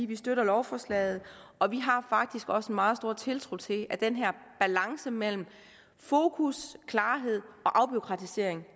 vi støtter lovforslaget og vi har faktisk også meget stor tiltro til at den her balance mellem fokus klarhed og afbureaukratisering